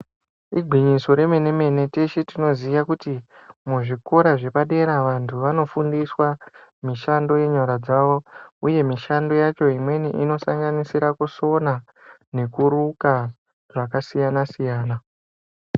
Igwinyiso remene-mene, teshe tinoziye kuti muzvikora zvepadera vantu vanofundiswa mishando yenyara dzavo, uye mishando yacho imweni inosanganisire kusona nekuruka zvakasiyana siyana.